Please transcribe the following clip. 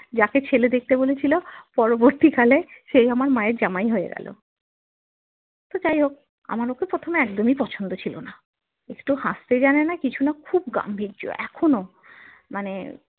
জেক ছেলে দেখতে বলেছিলো পরবর্তী কালে সে আমার মা এর জামাই হয়ে গেলো তো যাই হোক আমার তো প্রথমে একদমই পছন্দ ছিল না একটু হাস্তে জানেনা কিছুনা খুব গাম্ভীর্য এখনো মানে